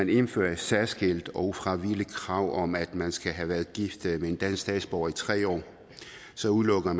vi indfører et særskilt og ufravigeligt krav om at man skal have været gift med en dansk statsborger i tre år så udelukker